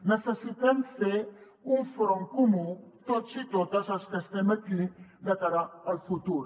necessitem fer un front comú tots i totes els que estem aquí de cara al futur